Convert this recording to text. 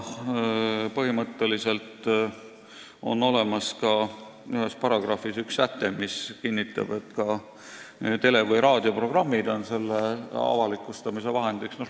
Põhimõtteliselt on ühes paragrahvis olemas üks säte, mis kinnitab, et ka tele- või raadioprogrammid on selle avalikustamise vahendiks.